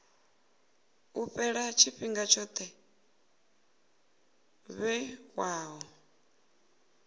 u fhela tshifhinga tsho vhewaho